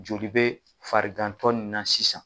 Joli bɛ farigantɔ nin na sisan